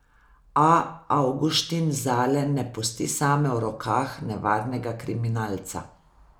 A Avguštin Zale ne pusti same v rokah nevarnega kriminalca.